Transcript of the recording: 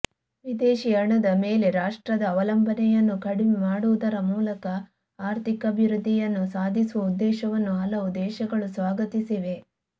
ವಿದೇಶೀ ಹಣದ ಮೇಲೆ ರಾಷ್ಟ್ರದ ಅವಲಂಬನೆಯನ್ನು ಕಡಿಮೆ ಮಾಡುವುದರ ಮೂಲಕ ಆರ್ಥಿಕಾಭಿವೃದ್ಧಿಯನ್ನು ಸಾಧಿಸುವ ಉದ್ದೇಶವನ್ನು ಹಲವು ದೇಶಗಳು ಸ್ವಾಗತಿಸಿವೆ